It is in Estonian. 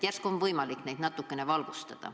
Järsku on võimalik meid natukene valgustada.